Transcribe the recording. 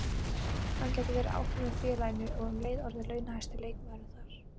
Hann gæti verið áfram hjá félaginu og um leið orðið launahæsti leikmaðurinn þar.